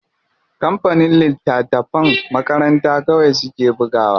Kampanin littatafan makaranta kawai suke bugawa.